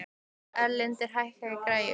Erlinda, lækkaðu í græjunum.